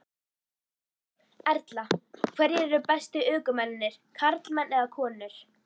Erla: Hverjir eru bestu ökumennirnir, karlmenn eða konur?